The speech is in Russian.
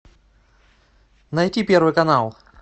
найти первый канал